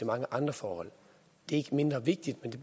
mange andre forhold det er ikke mindre vigtigt men det